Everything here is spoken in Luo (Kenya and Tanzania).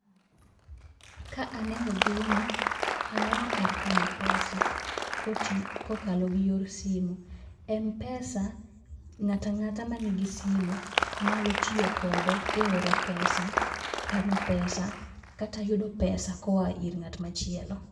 Ka aneni gini, aneno kar kano pesa, kot kokalo gi yor simu. M pesa, ng'ato ang'ata man gi simu nyalo tiyo kode eyor oro pesa, kano pesa kata yudo pesa kloa ir ng'at machielo.